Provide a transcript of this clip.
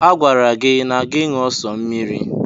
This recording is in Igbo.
A gwara gị na gị ṅụọ sọ mmiri.